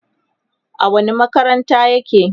a wani makarantar yake?